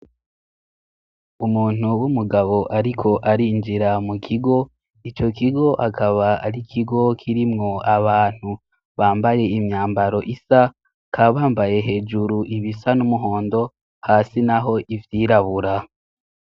Umuntu w'umugabo ariko arinjira mu kigo. Ico kigo akaba ari ikigo kirimwo abantu bambaye imyambaro isa, bakaba bambaye hejuru ibisa n'umuhondo hasi naho ivyirabura.